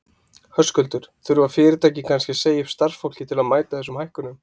Höskuldur: Þurfa fyrirtæki kannski að segja upp starfsfólki til að mæta þessum hækkunum?